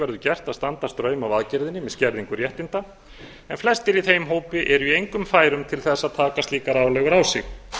verður gert að standa straum af aðgerðinni með skerðingu réttinda en flestir í þeim hópi eru í engum færum til þess að taka slíkar álögur á sig